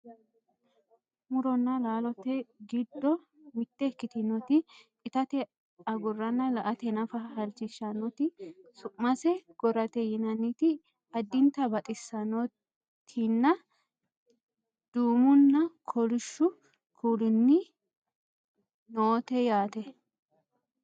muronna laalote giddo mitte ikkitinoti itate agurina la"ate nafa halchishshannoti su'mase gorate yinanniti addinta baxissannotinna duumunna kolishshu kuulinni noote yaate